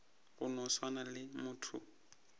go no swana le motho